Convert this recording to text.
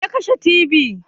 Waya kashe tibi?